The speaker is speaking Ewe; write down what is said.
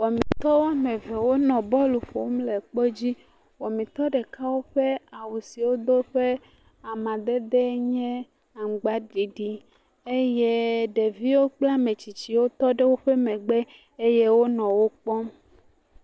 Wɔmitɔwo eve wonɔ bɔlu ƒom le kpedzi. Wɔmitɔ ɖeka woƒe awu si wodo ƒe amadedee nye aŋgbaɖiɖi. Eyee ɖeviwo kple ametsitsiwo tɔ ɖe woƒe megbe eye wonɔ wokpɔm.